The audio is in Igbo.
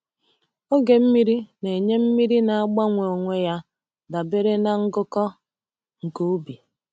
Oge mmiri na-enye mmiri na-agbanwe onwe ya dabere na ngụkọ nke ubi.